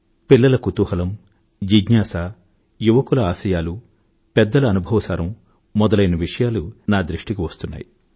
పిల్లల కుతూహలం యువకుల ఆశయాలు పెద్దల అనుభవ సారం మొదలైన విషయాలు నా దృష్టికి వస్తున్నాయి